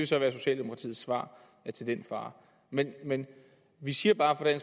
så være socialdemokratiets svar til den far men men vi siger bare